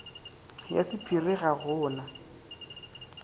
ya sapphire ga go na